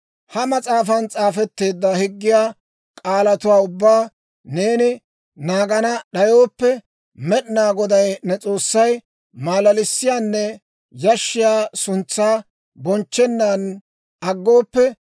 «Ha mas'aafan s'aafetteedda higgiyaa k'aalatuwaa ubbaa neeni naagana d'ayooppe, Med'inaa Goday ne S'oossay malalissiyaanne yashshiyaa suntsaa bonchchennaan aggooppe,